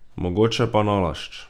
Mogoče pa nalašč.